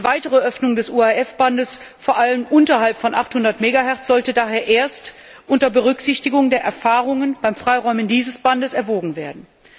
Eine weitere Öffnung des UHF Bandes, vor allem unterhalb von 800 Megahertz sollte daher erst unter Berücksichtigung der Erfahrungen beim Freiräumen dieses Bandes erwogen werden.